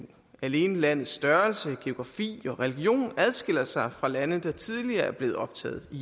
alene landets størrelse geografi og religion adskiller sig fra lande der tidligere er blevet optaget i